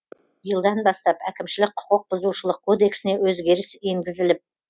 биылдан бастап әкімшілік құқық бұзушылық кодексіне өзгеріс енгізіліп